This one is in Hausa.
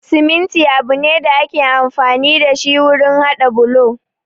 Siminti abu ne da ake amfani da wurin haɗa bulo